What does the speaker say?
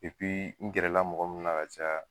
n gɛrɛ la mɔgɔ munnu na ka caya.